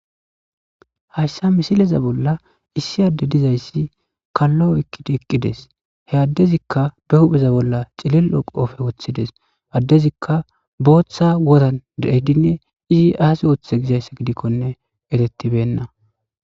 hayssa misileza bolla issi adde dizayssi kallo ekkidi eqqides he addezikka be hupheza bolla cillil7o qoofe woththides addezikka booththa wodan dededinne izi aase ooththe gizayssa gidikkone etettibenna